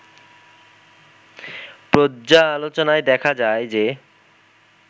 পর্যালোচনায় দেখা যায় যে